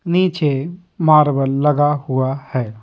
नीचे मार्बल लगा हुआ है।